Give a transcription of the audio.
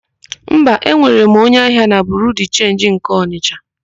Mba, enwere m onye ahịa na Biriu de Chenji nke Ọnịsha.